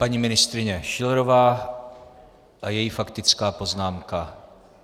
Paní ministryně Schillerová a její faktická poznámka.